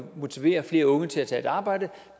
motivere flere unge til at tage et arbejde